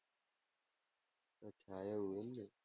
અચ્છા એવું એમ ને.